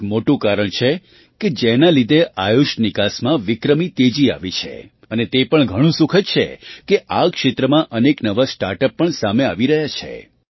તે એક મોટું કારણ છે કે જેના લીધે આયુષ નિકાસમાં વિક્રમી તેજી આવી છે અને તે પણ ઘણું સુખદ છે કે આ ક્ષેત્રમાં અનેક નવાં સ્ટાર્ટ અપ પણ સામે આવી રહ્યાં છે